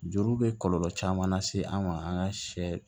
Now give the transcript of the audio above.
Juru bɛ kɔlɔlɔ caman lase an ma an ka sɛ